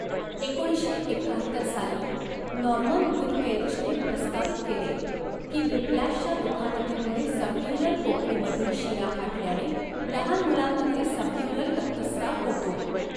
एकोणीसशे एक्काहत्तर साली, नॉर्मन गुथकेल्चने प्रस्तावित केले की व्हिप्लॅशच्या दुखापतीमुळे सबड्युरल पोकळीमधील शिरा फाटल्याने लहान मुलांमध्ये सबड्यूरल रक्तस्त्राव होतो.